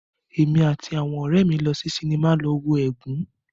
Èmi àti àwọn ọ̀rẹ́ mí lọ sí sinimá lọ wo "Ègún".